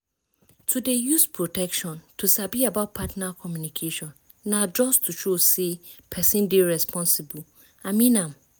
to dey use protection and to sabi about partner communication na just to show say person dey responsible i mean am.